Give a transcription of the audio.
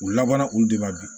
U labanna olu de ma bi